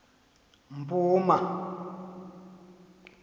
mpuma